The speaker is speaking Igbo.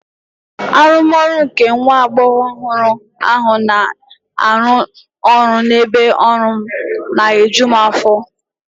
Arụmọrụ nke nwa agbọghọ ọhụrụ ahụ na-arụ ọrụ n'ebe ọrụ m na-eju m afọ.